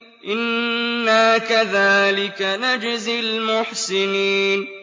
إِنَّا كَذَٰلِكَ نَجْزِي الْمُحْسِنِينَ